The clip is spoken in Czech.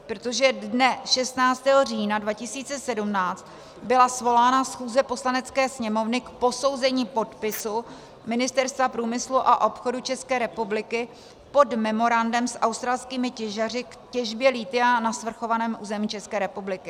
Protože dne 16. října 2017 byla svolána schůze Poslanecké sněmovny k posouzení podpisu Ministerstva průmyslu a obchodu České republiky pod memorandem s australskými těžaři k těžbě lithia na svrchovaném území České republiky.